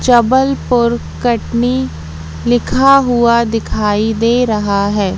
जबलपूर कटनी लिखा हुआ दिखाई दे रहा है।